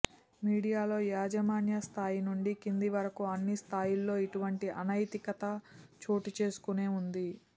మీడియాలో యాజమాన్య స్థాయి నుండి క్రింద వరకు అన్ని స్థాయిల్లో ఇటువంటి అనైతికత చోటు చేసుకొనే ఉంది